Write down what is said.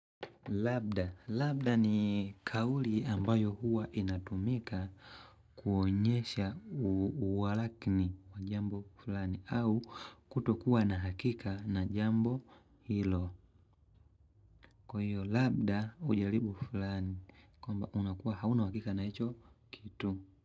Labda. Labda ni kauli ambayo huwa inatumika kuonyesha uwalakini jambo fulani au kutokuwa na hakika na jambo hilo. Kwa hiyo labda ujaribu fulani. Kwamba unakuwa hauna uhakika na hicho kitu.